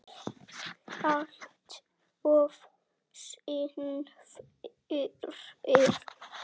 Alltof seinn fyrir.